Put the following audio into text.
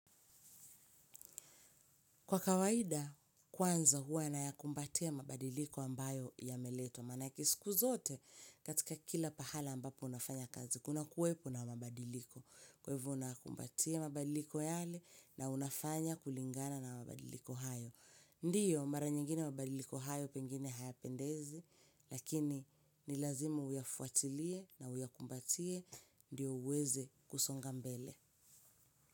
Kwa kawaida, kwanza huwa nayakumbatia mabadiliko ambayo yameletwa maanake siku zote katika kila pahala ambapo nafanya kazi kuna kuwepo na mabadiliko. Kwa hivyo nakumbatia mabadiliko yale na unafanya kulingana na mabadiliko hayo. Ndio, mara nyingine mabadiliko hayo pengine haya pendezi. Lakini, nilazima uyafuatilie na uyakumbatie. Ndio uweze kusonga mbele.